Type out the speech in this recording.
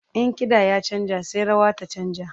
In kiɗa ya canja sai rawa ta canja.